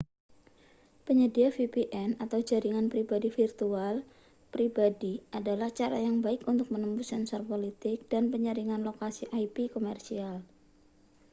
penyedia vpn jaringan pribadi virtual pribadi adalah cara yang baik untuk menembus sensor politik dan penyaringan lokasi ip komersial